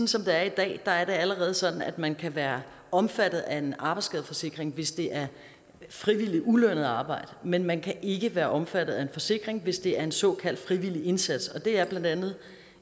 som det er i dag er det allerede sådan at man kan være omfattet af en arbejdsskadeforsikring hvis det er frivilligt ulønnet arbejde men man kan ikke være omfattet af en forsikring hvis det er en såkaldt frivillig indsats og det er blandt andet